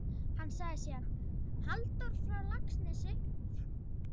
Hann sagði síðan: Halldór frá Laxnesi?